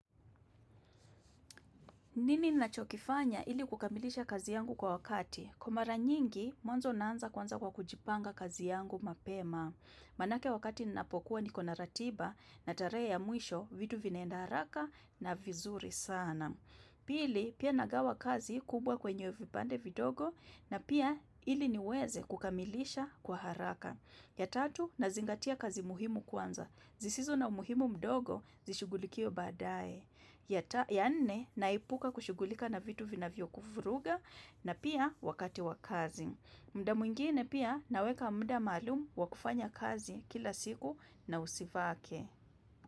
Nini nachokifanya ili kukamilisha kazi yangu kwa wakati? Kwa mara nyingi, mwanzo naanza kwanza kwa kujipanga kazi yangu mapema. Maanake wakati ninapokuwa niko na ratiba na tarehe ya mwisho, vitu vinaenda haraka na vizuri sana. Pili, pia nagawa kazi kubwa kwenye vipande vidogo na pia ili niweze kukamilisha kwa haraka. Ya tatu, nazingatia kazi muhimu kwanza. Zisizo na umuhimu mdogo, zishughulikiwe baadae. Ya nne naepuka kushughulika na vitu vinavyokuvuruga na pia wakati wa kazi. Muda mwingine pia naweka muda maalum wa kufanya kazi kila siku na usivake.